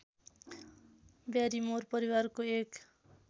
Barrymore परिवारको एक